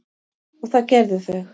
og það gerðu þau.